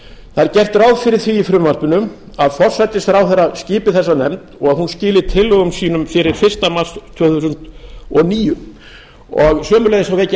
það er gert ráð fyrir því í frumvarpinu að forsætisráðherra skipi þessa nefnd og að hún skili tillögum sínum fyrir fyrsta mars tvö þúsund og níu sömuleiðis vek ég